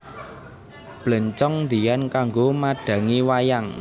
Bléncong diyan kanggo madhangi wayang